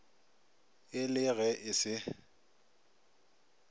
e le ge e se